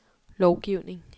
lovgivning